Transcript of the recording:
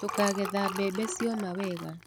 Tũkagetha bembe cioma wega.